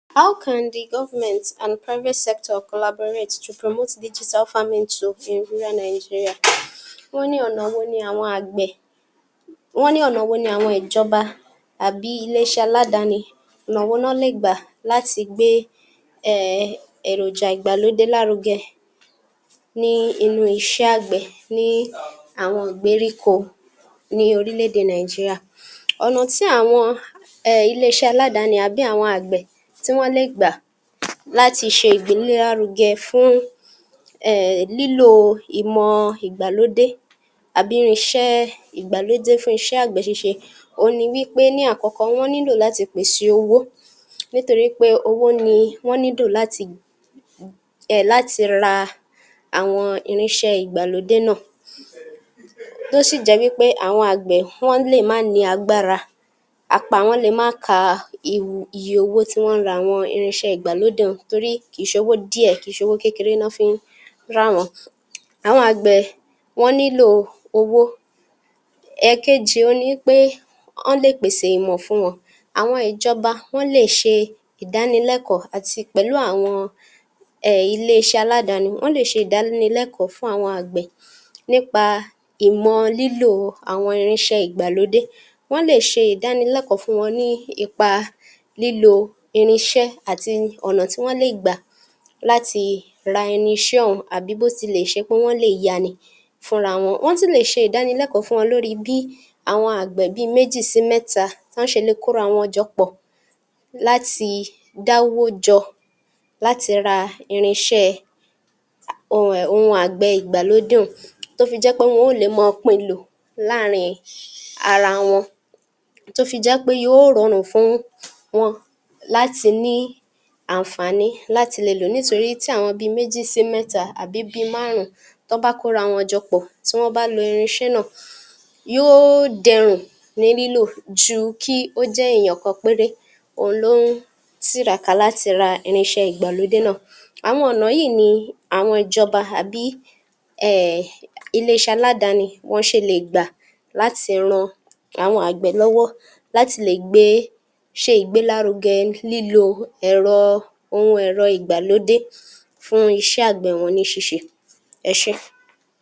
How can the government and private sector collaborate to promote digital farming tool in rural Nigeria wọ́n ní ọ̀nà wo ni àwọn àgbẹ̀, wọ́n ní ọ̀nà wo ní àwọn ìjọba àbí ilé-iṣẹ́ aládáni, ọ̀nà wo ná lè gbà láti gbé um èròjà ìgbàlódé lárugẹ ní inú iṣẹ́ àgbẹ̀ ní àwoṇ ìgbèríko ní orílẹ̀-èdè Nàìjíríà. Ọ̀nà tí àwọn [um]ilé-iṣẹ́ aládáni àbí àwọn àgbẹ̀, tí wọ́n le gbà láti ṣe ìgbélárugẹ fún um lílò ìmọ̀ ìgbàlódé àbí irinṣẹ́ ìgbàlódé fún àgbẹ̀ ṣíṣe òhun ni wípé ní àkọ́kọ́ wọ́n nílò láti pèsè owó, nítorí pé owó ni wọ́n nílò láti [um]ra àwọn irinṣẹ́ ìgbàlódé náà, ó sì jẹ́ wípé àwọn àgbẹ̀ lè má ni agbára, apá wọn lè má ká[um] iye owó tí wọ́n ń ra àwọn irinṣẹ́ ìgbàlódé un torí kì í ṣowó díẹ̀, kì í ṣe owó kékeré ná fi ń rà wọ́n, àwọn àgbẹ̀ wọ́n nílò owó. Èkejì, òhun ni wìpè wọ́n lè pèsè ìmọ̀ fún wọn, àwọn ìjọba, wọ́n lè ṣe ìdánilẹ́kọ̀ọ́ àti pẹ̀lú àwọn [um]ilé-iṣẹ́ aládáni, wọ́n lè ṣe ìdánilẹ́kọ̀ọ́ fún àwọn àgbẹ̀ nípa ìmọ̀ lílo àwọn irinṣẹ́ ìgbàlódé, wọ́n lè ṣe ìdánilẹ́kọ̀ọ́ fún wọn ní ipa lílo irinṣẹ́ àti ọ̀nà tí wọ́n le gbà láti ra irinṣẹ́ ọ̀hún, àbí bó tilẹ̀ ṣe pọ́n lè yá a ni fúnra wọn. Wọ́n tún lè ṣe ìdánilẹ́kọ̀ọ́ fún wọn lórí bí àwọn àgbẹ̀ bí í méjì sí mẹ́ta bí wọ́n ṣe lè kọ́ra wọn jọ pọ̀ láti dáwọ́ jọ, láti ra irinṣẹ́ ọ̀hún um àgbẹ̀ ìgbàlódé un, tó fi jẹ́ pé wọn ó lè máa pín in lò, láàrin ara wọn, tó fi jẹ́ pé yóò rọrùn fún wọn láti ní àǹfàní láti le lò ó, nítorí tí àwọn bí i méjì sí mẹ́ta àbí bí i márùn-ún tán bá kọ́ra wọn jọ pọ̀ tí wọ́n bá lo irinṣẹ́ náà yóò dẹrùn ní lílò ju kí ó jẹ́ èèyàn kan péré òun ló ń tiraka láti ra irinṣẹ́ ìgbàlódé náà. Àwọn ọ̀nà wọ̀nyí ni àwọn ìjọba àbí um ilé-iṣẹ́ aládáni wọn ṣe le gbà láti ran àwọn àgbẹ̀ lọ́wọ́ láti gbé, ṣe ìgbélárugẹ lílò ẹ̀rọ, ohun ẹ̀rọ ìgbàlódé fún iṣẹ́ àgbẹ̀ wọn ní ṣíṣe, ẹ ṣé.